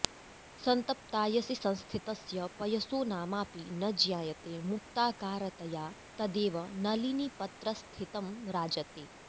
संतप्तायसि संस्थितस्य पयसो नामाऽपि न ज्ञायते मुक्ताकारतया तदेव नलिनीपत्रस्थितं राजते